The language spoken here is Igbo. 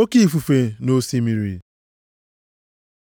Oke ifufe nʼosimiri